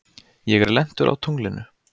Ég er lentur á tunglinu.